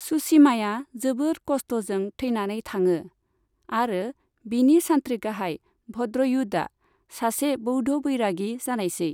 सुसीमाया जोबोद खस्टजों थैनानै थाङो, आरो बिनि सान्त्रि गाहाय भद्रयुधआ सासे बौद्ध बैरागि जानायसै।